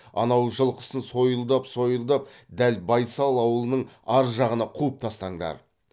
анау жылқысын сойылдап сойылдап дәл байсал аулының ар жағына қуып тастаңдар